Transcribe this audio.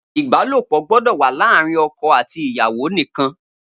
Ibàlópọ gbọdọ wà laarin ọkọ ati iyawo nikan.